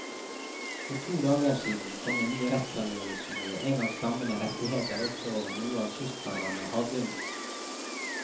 For to dager siden kom en ny rettsavgjørelse som gir en av stammene rettigheter også over noe av kystfarvannet og havbunnen.